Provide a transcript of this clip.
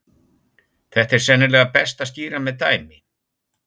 Þetta er sennilega best að skýra með dæmi.